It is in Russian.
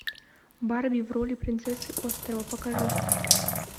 барби в роли принцессы острова покажи